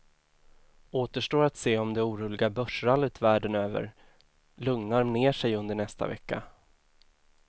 Återstår att se om det oroliga börsrallyt världen över lugnar ner sig under nästa vecka.